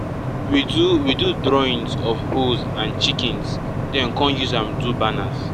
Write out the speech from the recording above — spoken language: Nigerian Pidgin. we do we do drawings of hoes and chickens den come use am do banners